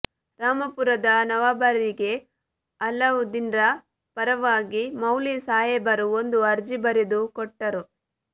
ರಾಮಪುರದ ನವಾಬರಿಗೆ ಅಲಾಉದ್ದೀನರ ಪರವಾಗಿ ಮೌಲ್ವಿ ಸಾಹೇಬರು ಒಂದು ಅರ್ಜಿ ಬರೆದು ಕೊಟ್ಟರು